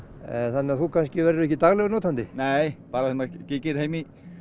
þannig að þú kannski verður ekki daglegur notandi nei bara þegar maður kíkir heim